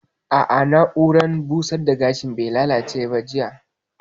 A'a, na'urar busar da gashin bai lallace ba jiya